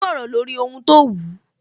Ó sọ̀rọ̀ lórí ohun tó wù